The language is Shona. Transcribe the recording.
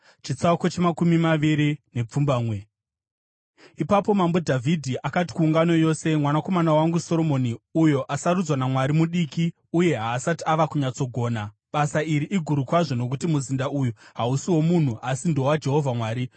Ipapo Mambo Dhavhidhi akati kuungano yose, “Mwanakomana wangu Soromoni uyo asarudzwa naMwari mudiki uye haasati ava kunyatsogona. Basa iri iguru kwazvo nokuti muzinda uyu hausi womunhu asi ndowaJehovha Mwari.